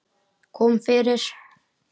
Kom fyrir.